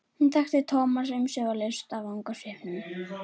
Hún þekkti Thomas umsvifalaust af vangasvipnum.